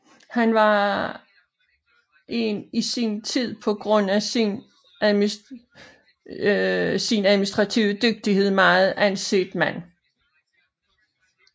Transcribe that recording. Han var en i sin tid på grund af sin administrative dygtighed meget anset mand